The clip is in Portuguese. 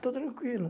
Estou tranquilo.